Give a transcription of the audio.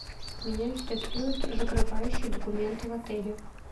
меня интересуют закрывающие документы в отеле